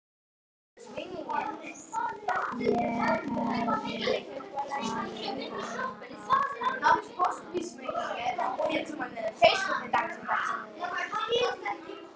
Ég hefði talið hana á það áður en ég fór.